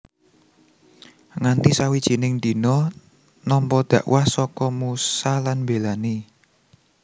Nganti sawijining dina nampa dhakwah saka Musa lan mbélani